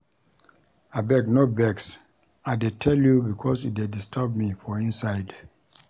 Abeg no vex, I dey tell you because e dey disturb me for inside.